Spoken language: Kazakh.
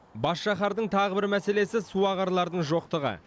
бас шаһардың тағы бір мәселесі суағарлардың жоқтығы